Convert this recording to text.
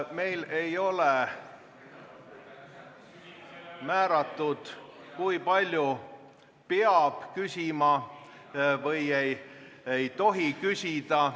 Meil ei ole määratud, kui palju peab küsima või ei tohi küsida.